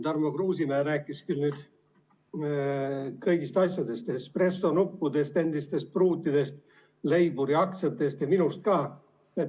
Tarmo Kruusimäe rääkis kõigist asjadest – espressonuppudest, endistest pruutidest, Leiburi aktsiatest ja minust ka.